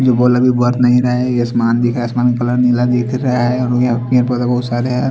ये बॉलर भी बहोत महंगा है ये आसमान भी ये आसमान का कलर बहोत नीला है।